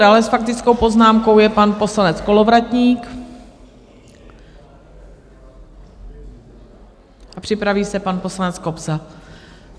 Dále s faktickou poznámkou je pan poslanec Kolovratník a připraví se pan poslanec Kobza.